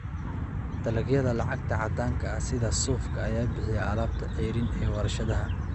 Dalagyada lacagta caddaanka ah sida suufka ayaa bixiya alaabta ceeriin ee warshadaha.